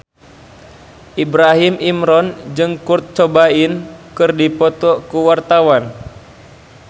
Ibrahim Imran jeung Kurt Cobain keur dipoto ku wartawan